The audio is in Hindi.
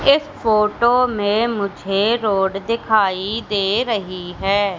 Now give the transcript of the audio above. इस फोटो में मुझे रोड दिखाई दे रही है।